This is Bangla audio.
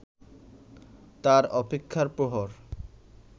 তার অপেক্ষার প্রহর